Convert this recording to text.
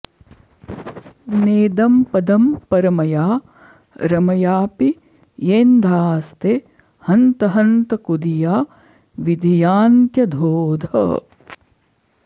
नेदं पदं परमया रमयापि येन्धास्ते हन्त हन्त कुधिया विधियान्त्यधोधः